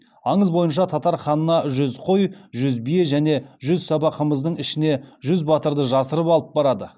аңыз бойынша татар ханына жүз қой жүз бие және жүз саба қымыздың ішіне жүз батырды жасырып алып барады